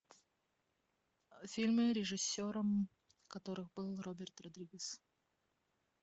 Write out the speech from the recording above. фильмы режиссером которых был роберт родригес